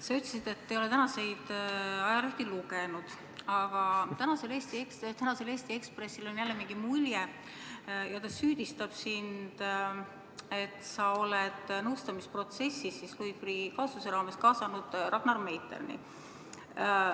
Sa ütlesid, et ei ole tänaseid ajalehti lugenud, aga tänasel Eesti Ekspressil on jälle mingi mulje ja ta süüdistab sind, et sa oled nõustamisprotsessis Louis Freeh' kaasuse raames kaasanud Ragnar Meiterni.